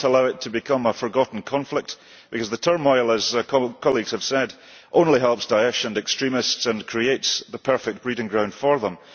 We cannot allow it to become a forgotten conflict because the turmoil, as colleagues have said, only helps Daesh and extremists and creates the perfect breeding ground for them.